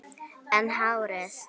En hárið?